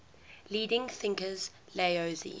leading thinkers laozi